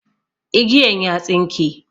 Igiyan ya tsinke.